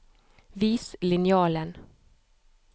Vis linjalen